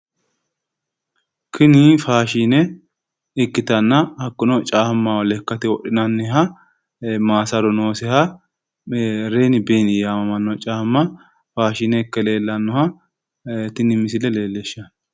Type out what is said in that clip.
Tinni Faashine ikkitanna hakuno caamao lakkate wodhinnanniha maassaru noosiha renni benni yamamano caamma Faashine ikke leellanoha tinni misille leelishano.